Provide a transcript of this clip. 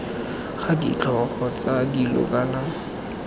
ga ditlhogo tsa dilo kana